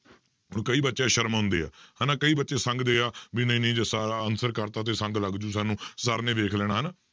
ਹੁਣ ਕਈ ਬੱਚੇ ਸ਼ਰਮਾਉਂਦੇ ਆ ਹਨਾ ਕਈ ਬੱਚੇ ਸੰਗਦੇ ਆ, ਵੀ ਨਹੀਂ ਨਹੀਂ ਜੇ answer ਕਰਤਾ ਤੇ ਸੰਗ ਲੱਗ ਜਾਊ ਸਾਨੂੰ sir ਨੇ ਦੇਖ ਲੈਣਾ ਹਨਾ।